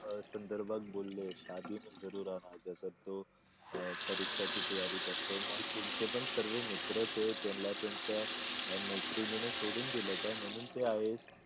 अह संदर्भात बोलले तसं तो अह परीक्षेची तयारी करतो मग तुमचे पण सर्व मित्र त्यांना त्यांचा मैत्रिणींना सोडून दिलं होतं म्हणून ते आहे